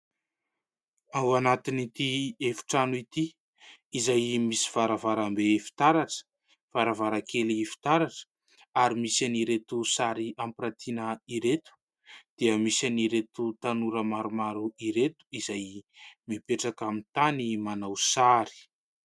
Ao anatin'ity efi-trano ity izay misy varavarambe fitaratra, varavarakely fitaratra ary misy any ireto sary ampirantiana ireto ; dia misy any ireto tanora maromaro ireto izay mipetraka amin'ny tany manao sary.